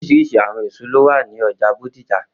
Oriṣiriṣi awọn eso lo wa ni ọja Bódìjà